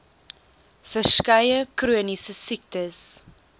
verskeie chroniese siektes